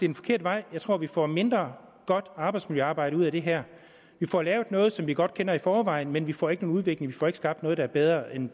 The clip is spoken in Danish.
en forkert vej jeg tror at vi får mindre godt arbejdsmiljøarbejde ud af det her vi får lavet noget som vi godt kender i forvejen men vi får ikke nogen udvikling vi får ikke skabt noget der er bedre end